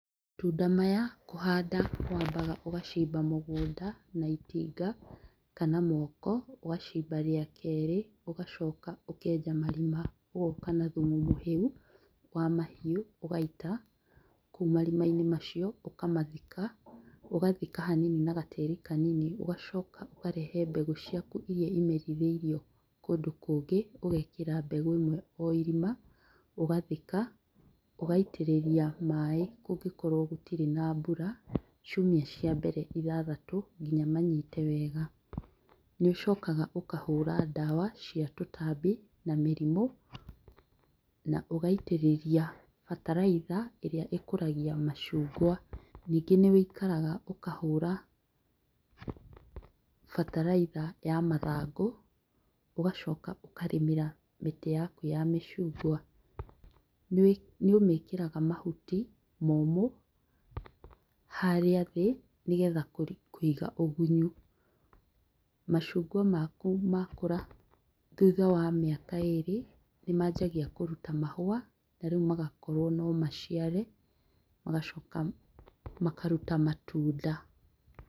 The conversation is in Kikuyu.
Matunda maya kũhanda wambaga ũgacimba mũgũnda na itinga kana moko. ũgacimba rĩa kerĩ ũgacoka ũkenja marima, ũgoka na thumu wa mũhĩu, ũgaita kũu marima-inĩ macio, ũkamathika, ũgathika na gatĩri kanini ũgacoka ũkarehe mbegũ cikau iria imerithĩirio kũndũ kũngĩ. ũgekĩra mbegũ ĩmwe o irima, ũgathika, ũgaitĩrĩria maĩ kũngĩkorwo gũtirĩ na mbura ciumia cia mbere ithathatũ nginya manyite wega. Nĩ ũcokaga ũkahũra ndawa cia tũtambi na mĩrimũ, naũgaitĩrĩria bataraitha ĩrĩa ĩkũragia macungwa. Nyingĩ nĩwĩikaraga ũkahũra bataraitha ya mathangũ, ũgacoka ũkarĩmĩra mĩtĩ yaku ya macungwa. Nĩũmĩkĩraga mahuti momũ harĩa thĩ nĩgetha kũiga ũgunyu. Macungwa maku makũra thutha wa mĩaka ĩrĩ, nĩmanjagia kũruta mahũa, narĩu magakorwo no maciare magacoka makaruta matunda.